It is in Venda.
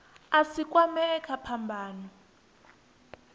a si kwamee kha phambano